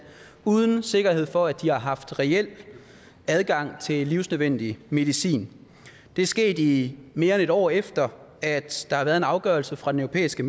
uden sikkerhed for at de har haft reel adgang til livsnødvendig medicin det er sket i mere end et år efter at der har været en afgørelse fra den europæiske